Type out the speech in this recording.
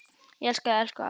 Ég elska þig, elsku amma.